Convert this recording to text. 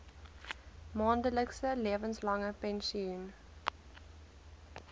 maandelikse lewenslange pensioen